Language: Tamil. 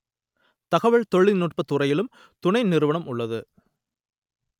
தகவல் தொழில் நுட்பத்துறையிலும் துணை நிறுவனம் உள்ளது